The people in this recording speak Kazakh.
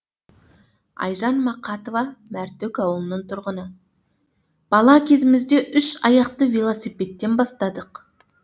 айжан мақатова мәртөк ауылының тұрғыны бала кезімізде үш аяқты велосипедтен бастадық